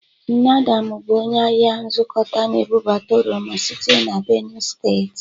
Nne Adamụ bụ onye ahịa nzụkọta na-ebụbata oroma site na Benu steeti